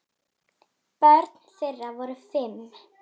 Börn þeirra voru fimm.